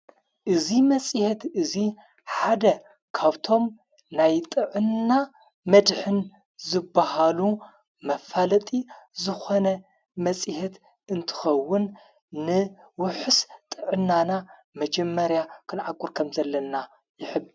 እዙይ መጺሐት እዙይ ሓደ ካብቶም ናይ ጥዕና መድኅን ዝብሃሉ መፋለጢ ዝኾነ መጺሔት እንትኸውን ንወሑስ ጥዕናና መጀመርያ ኽንዕቊር ከም ዘለና ይሕብር።